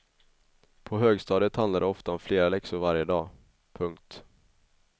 På högstadiet handlar det ofta om flera läxor varje dag. punkt